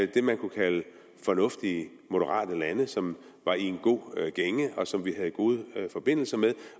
det man kunne kalde fornuftige moderate lande som var i en god gænge og som vi havde gode forbindelser med